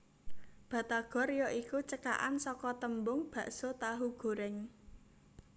Batagor ya iku cekakan saka tembung Baso Tahu Goreng